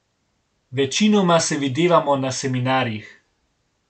Večinoma se videvamo na seminarjih.